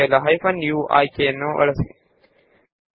ಆ ತರಹದ ವಿಶಿಷ್ಟ ಸಂಖ್ಯೆಯನ್ನು ತೆಗೆಯಲು ಹೈಫೆನ್ u ಅನ್ನು ಸೇರಿಸಿ